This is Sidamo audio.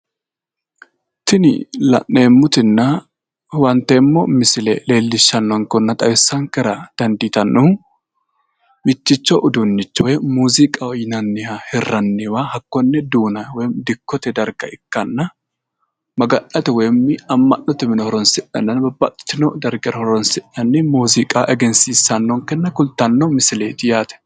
tini la'neemotinna huwanteemmo misile leellishanonkehunna xawisankera dandiitannohu migtticho uddunicho woy muuziiqa yinanniha hirranniwa hakkoni duuna woyimi dikkote darga ikkanna maga'nate woyimi amma'note mine horoonsi'nanni babbaxitino darga horoonsi'nanniha ikkannota kulttannonkke misileeti yaate.